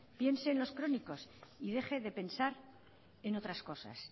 piense en los crónicos y deje de pensar en otras cosas